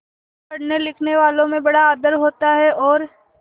पढ़नेलिखनेवालों में बड़ा आदर होता है और